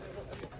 Mənə deyirəm.